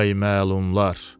Ay məlumlar.